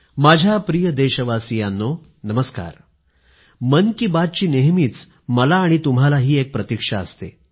माझ्या प्रिय देशवासियांनो नमस्कार मन की बातची नेहमी मला आणि तुम्हालाही एक प्रतीक्षा असते